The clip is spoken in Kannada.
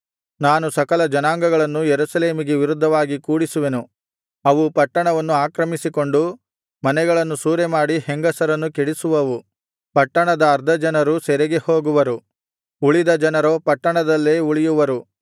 ನಾನು ಸಕಲ ಜನಾಂಗಗಳನ್ನು ಯೆರೂಸಲೇಮಿಗೆ ವಿರುದ್ಧವಾಗಿ ಕೂಡಿಸುವೆನು ಅವು ಪಟ್ಟಣವನ್ನು ಆಕ್ರಮಿಸಿಕೊಂಡು ಮನೆಗಳನ್ನು ಸೂರೆಮಾಡಿ ಹೆಂಗಸರನ್ನು ಕೆಡಿಸುವವು ಪಟ್ಟಣದ ಅರ್ಧ ಜನರು ಸೆರೆಗೆ ಹೋಗುವರು ಉಳಿದ ಜನರೋ ಪಟ್ಟಣದಲ್ಲೇ ಉಳಿಯುವರು